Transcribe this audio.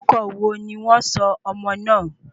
Orúkọ wo ni wọn sọ ọmọ náà?